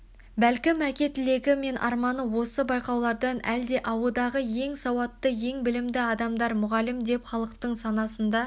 бәлкім әке тілегі мен арманы осы байқаулардан әлде ауыдағы ең сауатты ең білімді адамдар мұғалім деп халықтың санасында